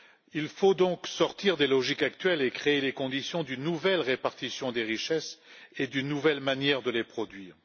Il faut donc sortir des logiques actuelles et créer les conditions d'une nouvelle répartition des richesses et d'une nouvelle manière de les produire.